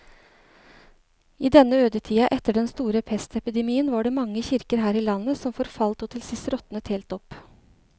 I denne ødetida etter den store pestepidemien var det mange kirker her i landet som forfalt og til sist råtnet helt opp.